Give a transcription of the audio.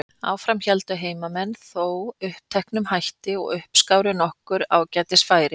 Áfram héldu heimamenn þó uppteknum hætti og uppskáru nokkur ágætis færi.